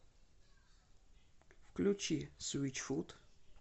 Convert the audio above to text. включи свитчфут